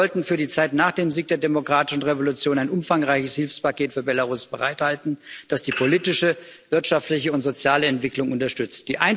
Wir sollten für die Zeit nach dem Sieg der demokratischen Revolution ein umfangreiches Hilfspaket für Belarus bereithalten, das die politische, wirtschaftliche und soziale Entwicklung unterstützt.